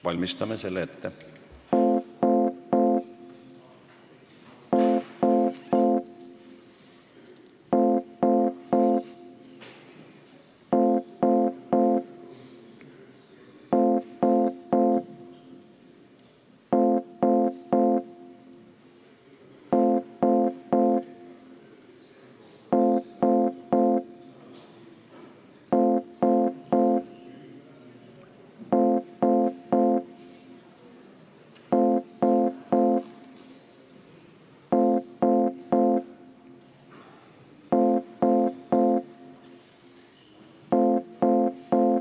Valmistame selle ette.